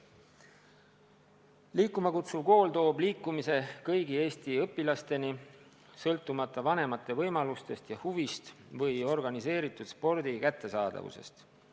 "Liikuma kutsuv kool" püüab liikuma panna kõik Eesti õpilased, sõltumata vanemate võimalustest ja huvist või organiseeritud spordi kättesaadavusest.